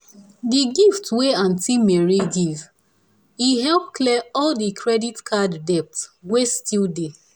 the big gift wey aunt mary give e help clear all the credit card debt wey still dey.